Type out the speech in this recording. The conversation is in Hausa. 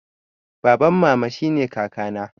Baban mama shine kaka na